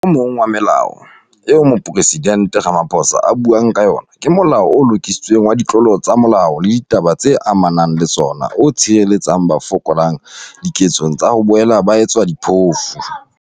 O mong wa melao eo Mopresidente Ramaphosa a buang ka yona ke Molao o Lokisitsweng wa Ditlolo tsa Molao le Ditaba tse Ama nang le Tsona o tshireletsang ba fokolang diketsong tsa ho boela ba etswa diphofu.